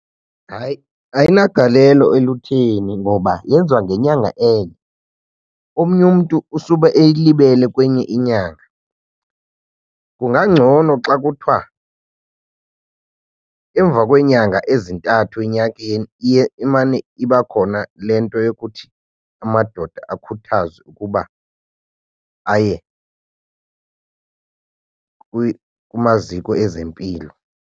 Hayi, ayinagalelo elutheni ngoba yenziwa ngenyanga enye. Omnye umntu usube eyilibele kwenye inyanga. Kungangcono xa kuthiwa emva kweenyanga ezintathu enyakeni iye imane iba khona le nto yokuthi amadoda akhuthazwe ukuba aye kumaziko ezempilo.